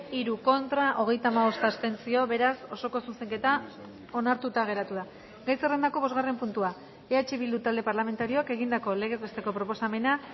hiru contra hogeita hamabost abstentzio beraz osoko zuzenketa onartuta geratu da gai zerrendako bosgarren puntua eh bildu talde parlamentarioak egindako legez besteko proposamena